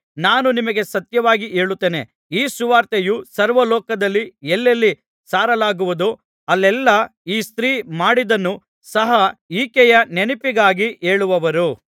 ನಾನು ನಿಮಗೆ ಸತ್ಯವಾಗಿ ಹೇಳುತ್ತೇನೆ ಈ ಸುವಾರ್ತೆಯು ಸರ್ವಲೋಕದಲ್ಲಿ ಎಲ್ಲೆಲ್ಲಿ ಸಾರಲಾಗುವುದೋ ಅಲ್ಲೆಲ್ಲಾ ಈ ಸ್ತ್ರೀ ಮಾಡಿದ್ದನ್ನು ಸಹ ಈಕೆಯ ನೆನಪಿಗಾಗಿ ಹೇಳುವರು